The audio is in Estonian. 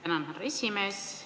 Tänan, härra esimees!